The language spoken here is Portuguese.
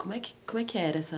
Como é que como é que era essa...